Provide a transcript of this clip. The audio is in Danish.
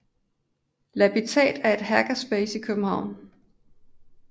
Labitat er et hackerspace i København